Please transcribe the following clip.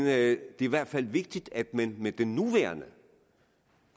er i hvert fald vigtigt at man med den nuværende